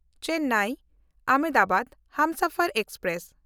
Chennai Ahmedabad Humsafar express